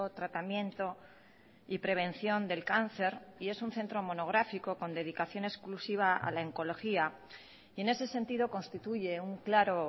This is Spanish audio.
tratamiento y prevención del cáncer y es un centro monográfico con dedicación exclusiva a la oncología y en ese sentido constituye un claro